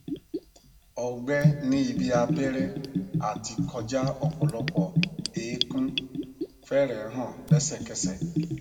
ọgbẹ ní ibi abẹrẹ àti kọjá ọpọlọpọ eékún fẹrẹẹ hàn lẹsẹkẹsẹ